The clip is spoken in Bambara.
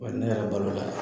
Wa ne yɛrɛ balola